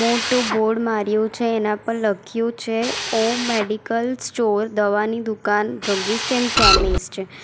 મોટું બોર્ડ માર્યું છે એના પર લખ્યું છે ઓમ મેડિકલ સ્ટોર દવાની દુકાન ડ્રગિસ્ટ એન્ડ કેમિસ્ટ .